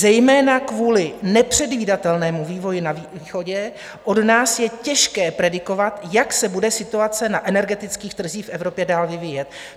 Zejména kvůli nepředvídatelnému vývoji na východě od nás je těžké predikovat, jak se bude situace na energetických trzích v Evropě dál vyvíjet.